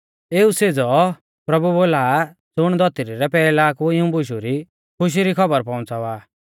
एऊ सेज़ौ प्रभु बोला आ ज़ुण धौतरी रै पैहला कु इऊं बुशु री खुशी री खौबर पौउंच़ावा आ